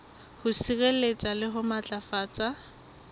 ho sireletsa le ho matlafatsa